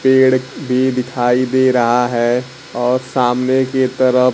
पेड़ भी दिखाई दे रहा है और सामने के तरफ--